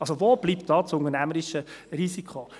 Also, wo bleibt da das unternehmerische Risiko?